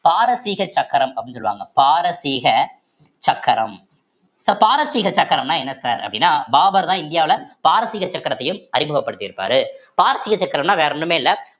பாரசீக சக்கரம் அப்படின்னு சொல்லுவாங்க பாரசீக சக்கரம் so பாரசீக சக்கரம்னா என்ன sir அப்படின்னா பாபர்தான் இந்தியாவுல பாரசீக சக்கரத்தையும் அறிமுகப்படுத்தி இருப்பாரு பாரசீக சக்கரம்ன்னா வேற ஒண்ணுமே இல்லை